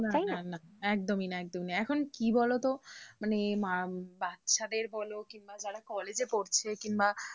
না একদমই না একদমই এখন কি বলতো মানে বাচ্চাদের বলো কিংবা যারা college এ পড়ছে কিংবা,